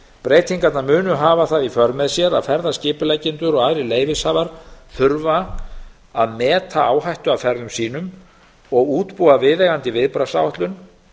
breytingarnar munu hafa það í för með sér að ferðaskipuleggjendur og aðrir leyfishafar þurfa að meta áhættu af ferðum sínum og útbúa viðeigandi viðbragðsáætlun